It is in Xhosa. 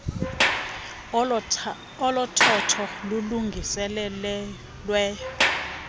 olu thotho lulungiselelwe